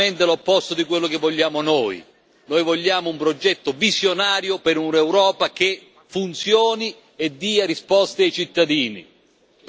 Esattamente l'opposto di quello che vogliamo noi noi vogliamo un progetto visionario per un'Europa che funzioni e che dia risposte ai cittadini.